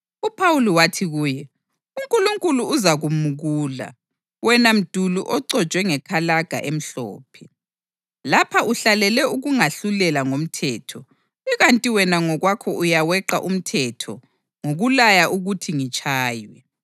UPhawuli wathi kuye, “UNkulunkulu uzakumukula, wena mduli oconjwe ngekalaga emhlophe! Lapha uhlalele ukungahlulela ngomthetho, ikanti wena ngokwakho uyaweqa umthetho ngokulaya ukuthi ngitshaywe!”